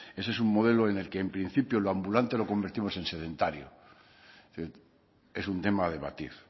ese es un modelo en el que en principio lo ambulante lo convertimos en sedentario es un tema a debatir